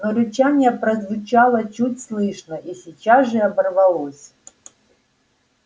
но рычание прозвучало чуть слышно и сейчас же оборвалось